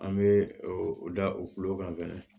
An bɛ o o da o kulo kan fɛnɛ